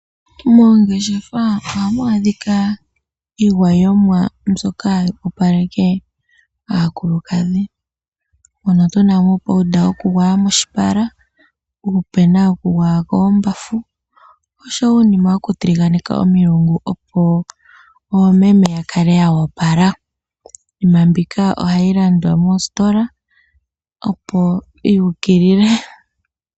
Moongeshefa ohamu adhika iigwayomwa mbyoka hayi opaleke aakulukadhi, moka tu na mo uupuyela wokugwaya moshipala, uupena wokugwaya koombafu oshowo uunima wokutiliganeka komlungu, opo oomeme ya kale yo opala. Iinima mbika ohayi landwa moositola, opo yu ukilile.